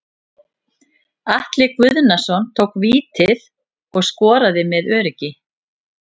Atli Guðnason tók vítið og skoraði með öruggi.